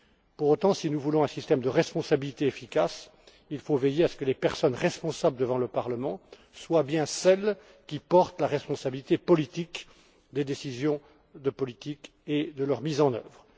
Pour autant, si nous voulons un système de responsabilité efficace, il faut veiller à ce que les personnes responsables devant le Parlement soient bien celles qui portent la responsabilité politique des décisions de politique et de leur mise en œuvre.